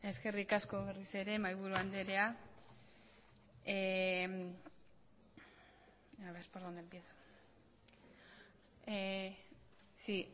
eskerrik asko berriz ere mahaiburu andrea sí